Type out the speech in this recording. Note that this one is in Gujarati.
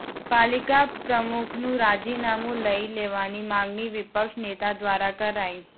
પાલિકા પ્રમુખનું રાજીનામુ લઇ લેવાની માગણી વિપક્ષ નેતા દ્વારા કરાઇ